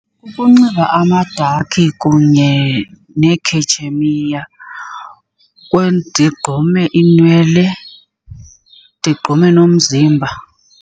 Kukunxiba amadakhi kunye neekhetshemiya, ndigqume iinwele, ndigqume nomzimba.